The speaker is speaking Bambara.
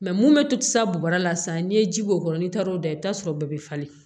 mun bɛ to sa bɔrɛ la sisan n'i ye ji k'o kɔnɔ n'i taara o da i bɛ t'a sɔrɔ bɛɛ bɛ falen